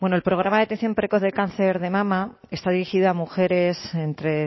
el programa de detección precoz del cáncer de mama está dirigido a mujeres entre